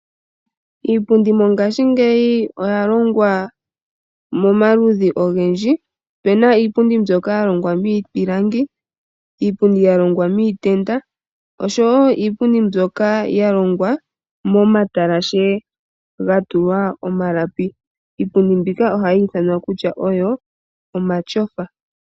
Iipundi mongashingeyi oya longwa momaludhi ogendji. Opuna iipundi mbyoka yalongwa miiti, miipilangi, miitenda, osho wo iipundi mbyoka yalongwa momatalashe gatulwa omalapi. Ohayi ithanwa omayofa.